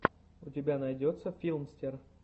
у тебя найдется филмстер